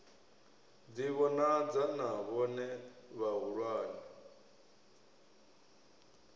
ḓi vhonadza na vhone vhahulwane